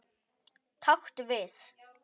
Taktu við.